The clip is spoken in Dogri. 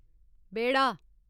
बेह्ढा